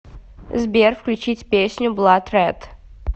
сбер включить песню блад ред